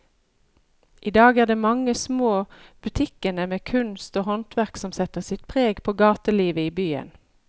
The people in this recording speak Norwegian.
I dag er det de mange små butikkene med kunst og håndverk som setter sitt preg på gatelivet i byen.